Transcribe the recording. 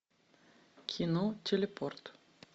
кино телепорт